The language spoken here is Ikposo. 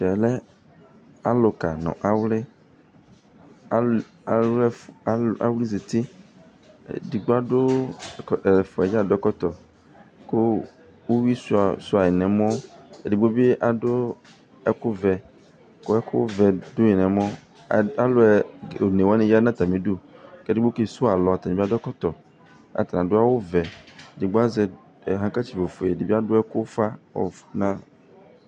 Ɛmɛ aluka nu awli aza uti edigbo adu atalu ɛfua yɛ dza adu ɛkɔtɔ ku uyui sua yi nu ɛmɔ edigbo bi adu ɛku vɛ ku ɛku vɛ du yi nu ɛmɔ alu one wani ya nu atami udu ku edigbo ke suwu alɔ ɔtabi adu ɛkɔtɔ ata adu awu vɛ edigbo azɛ ɔvlɛku suwu alɔ ofue edibi adu ufa